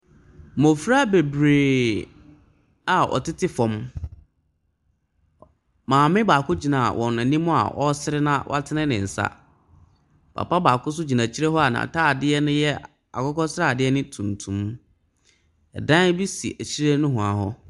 Mmɔfra bebree a wɔtete fam, Ɔ Maame baako gyina wɔn anim a ɔresere na watene ne nsa. Papabaako nso gyina akyire hɔ a n'atadeɛ no yɛ akokɔsradeɛ ne tuntum. Ɛdan bi si akyire nohoa hɔ.